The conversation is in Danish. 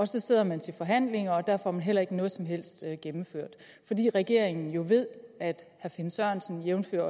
så sidder man til forhandlinger og der får man heller ikke noget som helst gennemført fordi regeringen jo ved at herre finn sørensen jævnfør